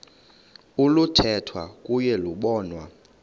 oluthethwa kuyo lobonwa